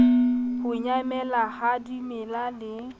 ho nyamela ha dimela le